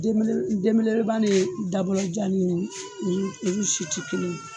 Eleban de ye dabɔjanani ye si tɛ kelen